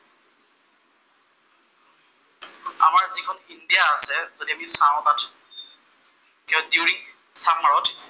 আমাৰ যিখন ইণ্ডিয়া আছে, যদি আমি চাঁও তাত দিউৰিং চামাৰত